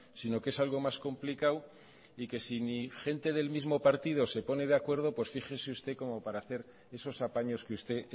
sino que es algo más complicado y que si ni gente del mismo partido se pone de acuerdo pues fíjese usted como para hacer esos apaños que usted